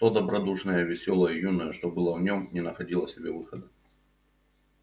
то добродушное весёлое юное что было в нём не находило себе выхода